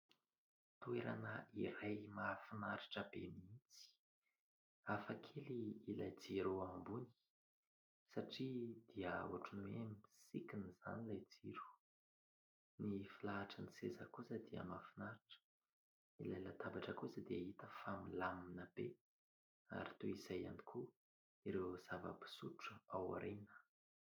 Toerana iray mahafinaritra be mihitsy, hafa kely ilay jiro eo ambony satria dia ohatran'ny hoe misikina izany ilay jiro. Ny filahatry ny seza kosa dia mahafinaritra, ilay latabatra kosa dia hita fa milamina be ary toy izay ihany koa ireo zava-pisotro ao ariana.